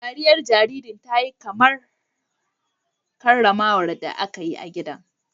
Dariyar jaririn ta yi kamar kararrawar da aka yi a gidan.